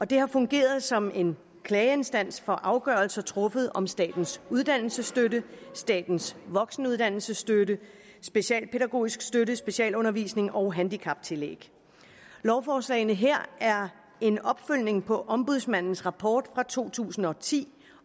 det har fungeret som en klageinstans for afgørelser truffet om statens uddannelsesstøtte statens voksenuddannelsesstøtte specialpædagogisk støtte specialundervisning og handicaptillæg lovforslagene her er en opfølgning på ombudsmandens rapport fra to tusind og ti